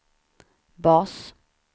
bas